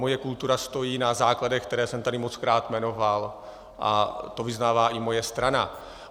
Moje kultura stojí na základech, které jsem tady mockrát jmenoval, a to vyznává i moje strana.